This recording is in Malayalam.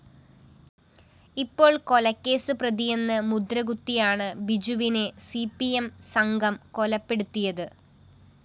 ഇപ്പോള്‍ കൊലക്കേസ് പ്രതിയെന്ന് മുദ്രകുത്തിയാണ് ബിജുവിനെ സി പി എം സംഘം കൊലപ്പെടുത്തിയത്